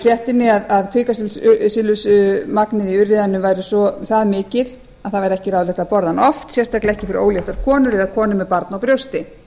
í fréttinni að kvikasilfursmagnið í urriðanum væri það mikið að það væri ekki ráðlegt að borða hann oft sérstaklega ekki fyrir óléttar konur eða konur með barn á brjósti